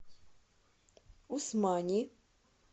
усмани